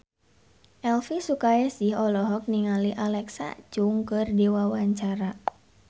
Elvi Sukaesih olohok ningali Alexa Chung keur diwawancara